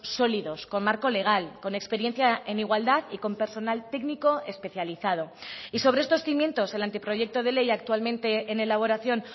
sólidos con marco legal con experiencia en igualdad y con personal técnico especializado y sobre estos cimientos el anteproyecto de ley actualmente en elaboración